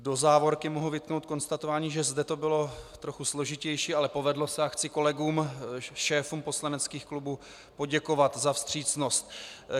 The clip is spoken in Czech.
Do závorky mohu vytknout konstatování, že zde to bylo trochu složitější, ale povedlo se, a chci kolegům šéfům poslaneckých klubů poděkovat za vstřícnost.